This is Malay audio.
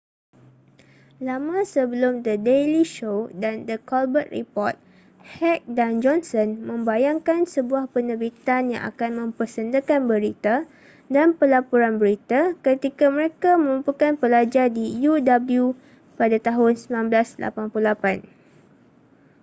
lama sebelum the daily show dan the colbert report heck dan johnson membayangkan sebuah penerbitan yang akan mempersendakan berita-dan pelaporan berita-ketika mereka merupakan pelajar di uw pada tahun 1988